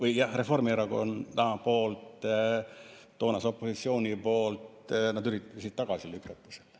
Siis Reformierakond, toonane opositsioon, üritas tagasi lükata seda.